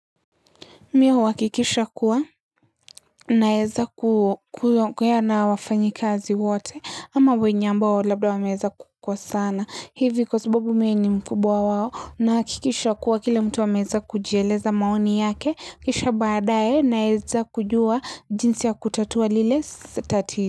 Mi huakikisha kuwa naeza kuyongea na wafanyikazi wote ama wenye ambao labla wameeza kukosana. Hivi kwa sababu mi ni mkubwa wao na hakikisha kuwa kila mtu ameza kujieleza maoni yake. Kisha baadae naeza kujua jinsi ya kutatua lile sa tatizo.